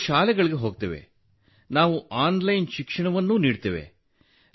ನಾವು ಶಾಲೆಗಳಿಗೆ ಹೋಗುತ್ತೇವೆ ನಾವು ಆನ್ಲೈನ್ ಶಿಕ್ಷಣವನ್ನು ನೀಡುತ್ತೇವೆ